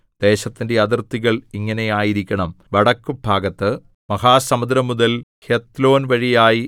ദേശത്തിന്റെ അതിർത്തികൾ ഇങ്ങനെ ആയിരിക്കണം വടക്കുഭാഗത്ത് മഹാസമുദ്രംമുതൽ ഹെത്ലോൻവഴിയായി